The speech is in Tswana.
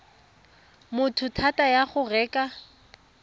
motho thata ya go reka